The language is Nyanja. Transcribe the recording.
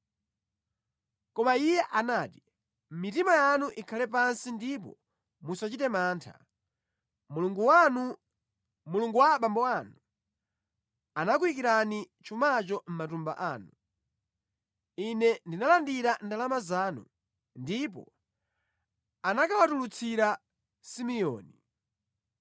Koma iye anati, “Mitima yanu ikhale pansi ndipo musachite mantha. Mulungu wanu, Mulungu wa abambo anu, anakuyikirani chumacho mʼmatumba anu. Ine ndinalandira ndalama zanu.” Ndipo anakawatulutsira Simeoni.